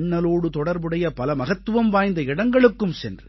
அண்ணலோடு தொடர்புடைய பல மகத்துவம் வாய்ந்த இடங்களுக்கும் சென்று